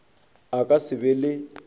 a ka se be le